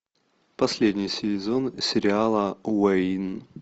последний сезон сериал уэйн